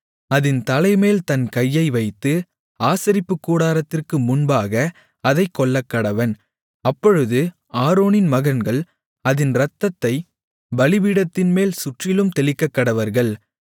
அதின் தலைமேல் தன் கையை வைத்து ஆசரிப்புக்கூடாரத்திற்கு முன்பாக அதைக் கொல்லக்கடவன் அப்பொழுது ஆரோனின் மகன்கள் அதின் இரத்தத்தைப் பலிபீடத்தின்மேல் சுற்றிலும் தெளிக்கக்கடவர்கள்